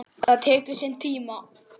Það tekur sinn tíma.